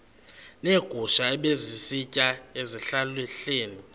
neegusha ebezisitya ezihlahleni